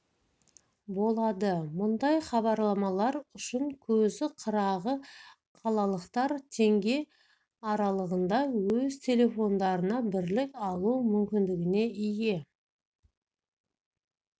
болады мұндай хабарламалар үшін көзі қырағы қалалықтар теңге аралығында өз телефондарына бірлік алу мүмкіндігіне ие